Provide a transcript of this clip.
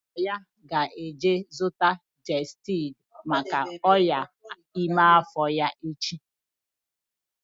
Nna ya ga-eje zụta gestid maka ọnyá ime afọ ya echi